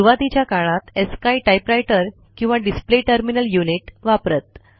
सुरूवातीच्या काळात ASCII typewriter किंवा डिस्प्ले टर्मिनल युनिट वापरत